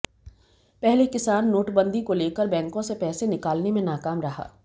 पहले किसान नोटबंदी को लेकर बैंकों से पैसे निकालने में नाकाम रहा